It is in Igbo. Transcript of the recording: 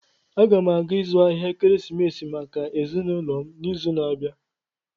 Aga m aga ịzụ ahịa ekeresimesi maka ezinụlọ m n'izu na-abịa.